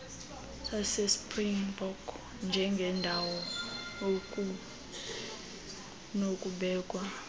sasespringbok njengendawo ekunokubekwa